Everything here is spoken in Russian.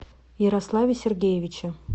ярославе сергеевиче